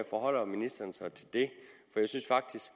forholder ministeren sig til det jeg synes at